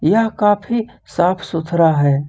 यह काफी साफ सुथरा है।